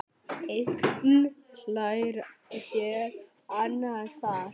Einn hlær hér, annar þar.